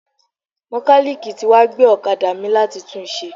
Mọ́kálíìkì tí wá gbé ọ̀kadà mi láti tún un ṣe.